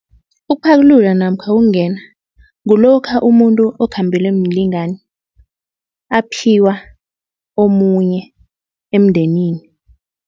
Ukuphakulula namkha ukungena kulokha umuntu okhambelwe mlingani aphiwa omunye emndenini.